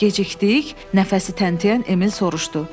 Gecikdik, nəfəsi təntiyən Emil soruşdu.